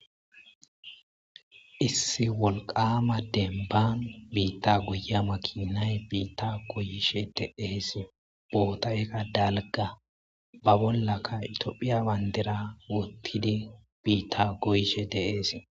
Issi woliqama denba bita goya makinay bita goyishe deasi botay daliga ba bolaka tophia bandira wotidi bita goyishe deas.